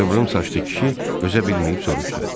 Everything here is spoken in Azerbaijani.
Qıvrım saçlı kişi dözə bilməyib soruşdu.